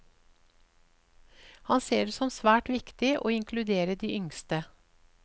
Han ser det som svært viktig å inkludere de yngste.